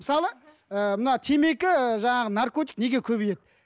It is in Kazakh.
мысалы ыыы мына темекі жаңағы наркотик неге көбейеді